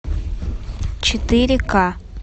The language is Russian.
четыре ка